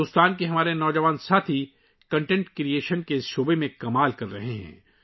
ہمارے بھارت کے نوجوان ساتھی کنٹینٹ کریئیٹر کے میدان میں حیرت انگیز کام کر رہے ہیں